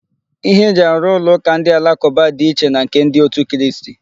Ihe eji arụ ụlọ ụka ndị alakụba dị iche na nke ndị otu Kristi.